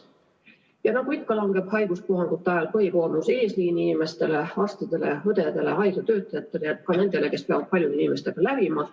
Ja nagu ikka, langeb haiguspuhangute ajal põhikoormus eesliini inimestele: arstidele, õdedele, muudele haiglatöötajatele, ja ka nendele, kes lihtsalt peavad paljude inimestega lävima.